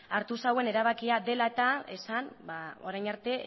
hartu zuen erabakia dela eta esan orain arte